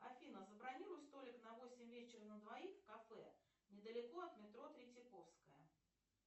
афина забронируй столик на восемь вечера на двоих в кафе недалеко от метро третьяковская